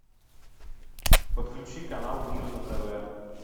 подключи канал мир на тв